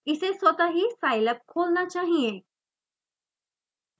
इसे स्वतः ही scilab खोलना चाहिए